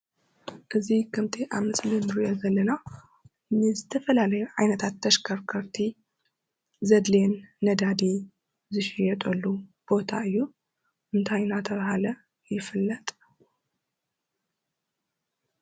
እዚ ከምቲ ኣብ ምስሊ እንሪኦ ዘለና ንዝተፈላለዩ ዓይነታት ተሽከርከርቲ ዘዲሊየን ነዳዲ ዝሽየጠሉ ቦታ እዩ። እንታይ እናተባህለ ይፍለጥ?